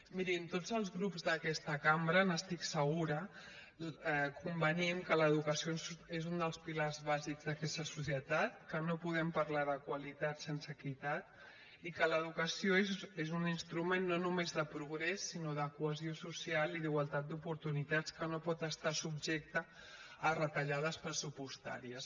mirin tots els grups d’aquesta cambra n’estic segura convenim que l’educació és un dels pilars bàsics d’aquesta societat que no podem parlar de qualitat sense equitat i que l’educació és un instrument no només de progrés sinó de cohesió social i d’igualtat d’oportunitats que no pot estar subjecte a retallades pressupostàries